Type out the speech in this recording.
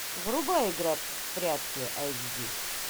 врубай игра в прятки айч ди